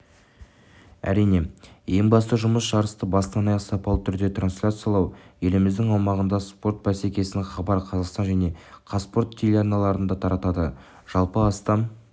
әрине ең басты жұмыс жарысты бастан-аяқ сапалы түрде трансляциялау еліміздің аумағында спорт бәсекесін хабар қазақстан және қазспорт телеарналары таратады жалпы астам